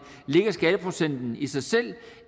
ligger skatteprocenten i sig selv